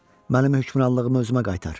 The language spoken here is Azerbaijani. mənim hökmranlığımı özümə qaytar.